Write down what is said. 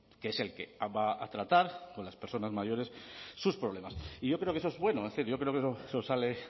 que es el que va a tratar con las personas mayores sus problemas y yo creo que eso es bueno es decir yo creo que eso sale